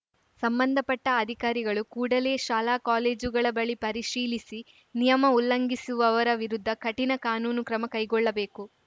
ಸಂಬಂಧಪಟ್ಟಅಧಿಕಾರಿಗಳು ಕೂಡಲೆ ಶಾಲಾ ಕಾಲೇಜುಗಳ ಬಳಿ ಪರಿಶೀಲಿಸಿ ನಿಯಮ ಉಲ್ಲಂಘಿಸುವವರ ವಿರುದ್ಧ ಕಠಿಣ ಕಾನೂನು ಕ್ರಮ ಕೈಗೊಳ್ಳಬೇಕು